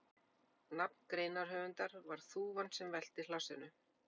Nafn greinarhöfundar var þúfan sem velti hlassinu.